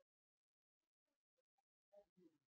Og hver þorði að lækka lán heimilanna?